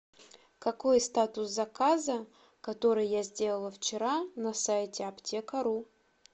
какой статус заказа который я сделала вчера на сайте аптека ру